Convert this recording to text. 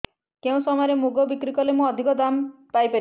କେଉଁ ସମୟରେ ମୁଗ ବିକ୍ରି କଲେ ମୁଁ ଅଧିକ ଦାମ୍ ପାଇ ପାରିବି